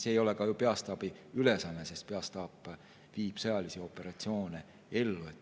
See ei ole ju ka peastaabi ülesanne, sest peastaap viib sõjalisi operatsioone ellu.